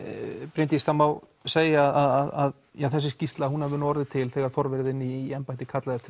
Bryndís það má segja að þessi skýrsla hafi orðið til þegar forvari þinn í embætti kallaði eftir